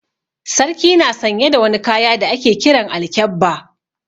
Sarki na sanye da wani kaya da ake Kiran Alkyabba.